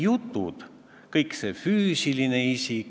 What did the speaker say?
Kas see teadmine muudab teie otsust, kas käesolevat eelnõu toetada või mitte?